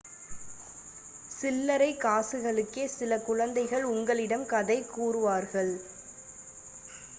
சில்லரை காசுகளுக்கே சில குழந்தைகள் உங்களிடம் கதை கூறுவார்கள்